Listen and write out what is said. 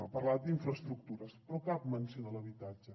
ha parlat d’infraestructures però cap menció a l’habitatge